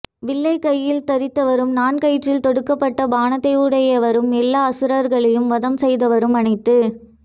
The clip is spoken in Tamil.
வில்லைக் கையில் தரித்தவரும் நாண் கயிற்றில் தொடுக்கப்பட்ட பாணத்தையுடையவரும் எல்லா அசுரர்களையும் வதம் செய்தவரும் அனைத்து